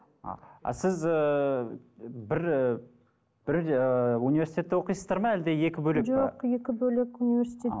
ы а сіз ыыы бір ы бірдей ыыы университетте оқисыз ба әлде екі бөлек пе жоқ екі бөлек универститетте